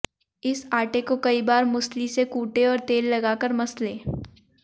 इस आटे को कई बार मूसली से कूटें और तेल लगाकर मसलें